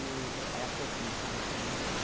E era pouco o meu salário, né?